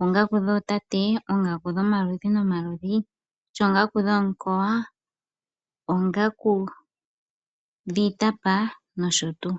oongaku dhootate, oongaku dhomaludhi nomaludhi, oongaku dhomukowa, oongaku dhiitapa nosho tuu.